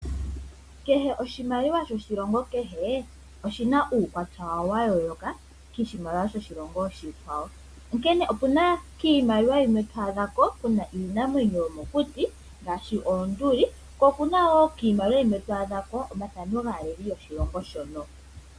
Kehe oshimaliwa shoshilongo kehe oshina uukwatya wawo wa yooloka koshimaliwa shoshilongo oshikwawo. Onkene opuna kiimaliwa yimwe to adhako kuna iinamwenyo yomokuti ngaashi oonduli, ko okuna wo kiimaliwa yimwe to adhako omathano gaaleli yoshilongo shono.